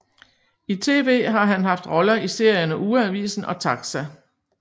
I tv har han haft roller i serierne Ugeavisen og TAXA